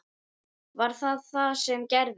Var það það sem gerðist?